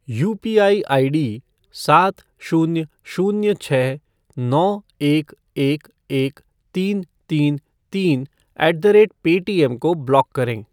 UPI ID सात शून्य शून्य छः नौ एक एक एक तीन तीन तीन ऐट द रेट पेटीएम को ब्लॉक करें।